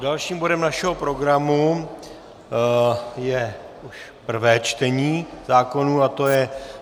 Dalším bodem našeho programu je už prvé čtení zákonů a to je